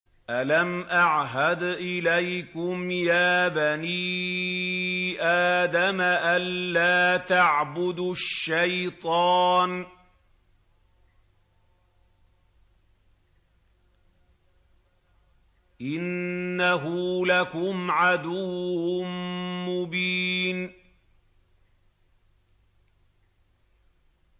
۞ أَلَمْ أَعْهَدْ إِلَيْكُمْ يَا بَنِي آدَمَ أَن لَّا تَعْبُدُوا الشَّيْطَانَ ۖ إِنَّهُ لَكُمْ عَدُوٌّ مُّبِينٌ